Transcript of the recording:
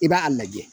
I b'a lajɛ